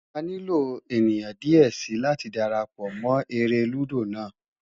A nilo eniyan diẹ sii lati darapọ mọ ere ludo naa